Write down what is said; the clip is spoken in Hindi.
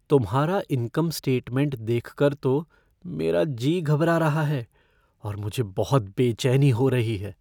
तुम्हारा इनकम स्टेटमेंट देखकर तो मेरा जी घबरा रहा है और मुझे बहुत बेचैनी हो रही है।